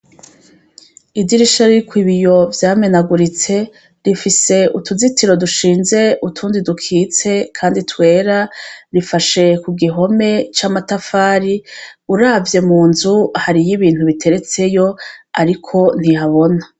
Idirisha riko ibiyo vyamenaguritse rifise utuzitiro dushinze utundi dukitse, kandi twera rifashe ku gihome c'amatafari uravye mu nzu hariyo ibintu biteretseyo, ariko ntihabona.